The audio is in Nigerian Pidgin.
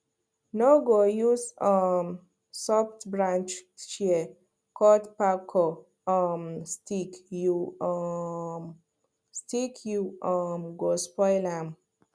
no go use um softbranch shears cut kpako um stick you um stick you um go spoil am